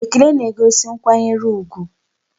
Ekele na-egosi nkwanyere ugwu.